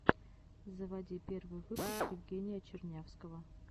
заводи первый выпуск евгения чернявского